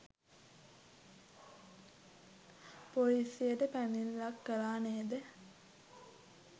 පොලිසියට පැමිණිල්ලක් කළා නේද?